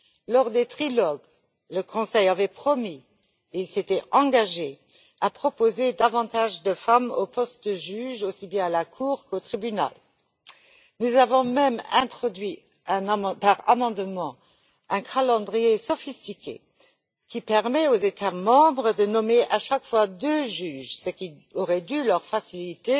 Lors des trilogues, le Conseil avait promis et s'était engagé à proposer davantage de femmes aux postes de juges aussi bien à la Cour qu'au tribunal. Nous avons même introduit par amendement un calendrier sophistiqué qui permet aux États membres de nommer à chaque fois deux juges, ce qui aurait dû faciliter